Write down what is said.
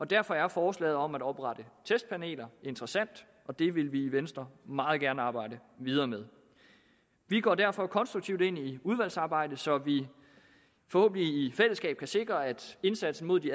derfor er forslaget om at oprette testpaneler interessant og det vil vi i venstre meget gerne arbejde videre med vi går derfor konstruktivt ind i udvalgsarbejdet så vi forhåbentlig i fællesskab kan sikre at indsatsen mod de